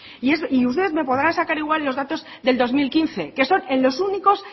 y usted me podrá sacar igual los datos del dos mil quince que son en los únicos